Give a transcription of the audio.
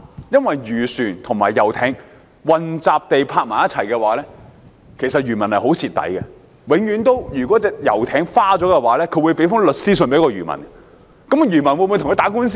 因為漁船和遊艇混集停泊，漁民其實非常吃虧，如果遊艇被刮花，遊艇艇主便會向漁民發律師信，但漁民會否跟他打官司呢？